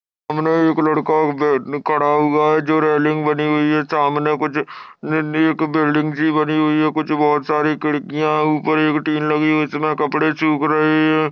सामने एक लड़का बैठ खड़ा हुआ है। जो रेलिंग बनी हुई है। सामने कुछ नन्ही एक बिल्डिंग सी बनी हुई है। कुछ बोहत सारी खिड्किया ऊपर एक तीन लगी हुई है। इसमे कपड़े सूख रहे है।